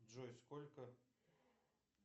джой сколько